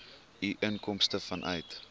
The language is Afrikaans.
u inkomste vanuit